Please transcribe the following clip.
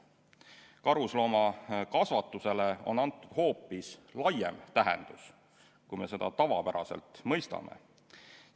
Karusloomakasvatusele on antud hoopis laiem tähendus, kui me seda tavapäraselt mõistame.